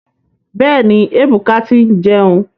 Bẹ́ẹ̀ni, Ebuka ti ń jẹun.